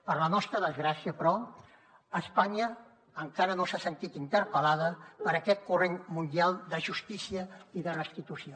per la nostra desgràcia però espanya encara no s’ha sentit interpel·lada per aquest corrent mundial de justícia i de restitució